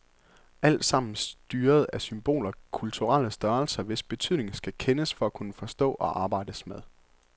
Alt sammen styret af symboler, kulturelle størrelser, hvis betydning skal kendes for at kunne forstås og arbejdes med.